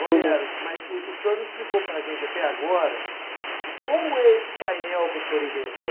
Romero, mas o o senhor não explicou para a gente até agora como é esse painel que o senhor inventou.